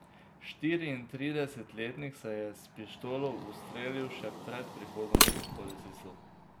Štiriintridesetletnik se je s pištolo ustrelil še pred prihodom policistov.